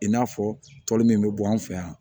I n'a fɔ tɔli min bɛ bɔ an fɛ yan